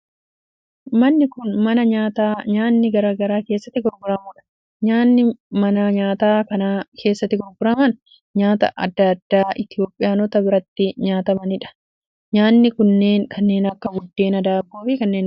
Manni kun, mana nyaataa nyaanni garaa garaa keessatti gurguramuu dha. Nyaanni mana nyaataa kana keessatti gurguraman nyaataa adda addaa Itoophiyaanota biratti nyaatamanii dha. Nyaanni kunneen kanneen akka buddeenaa, daabboo fi kanneen birooti.